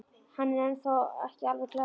Hann er þá ekki alveg glataður!